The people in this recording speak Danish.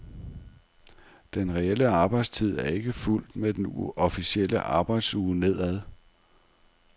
Den reelle arbejdstid er ikke fulgt med den officielle arbejdsuge nedad.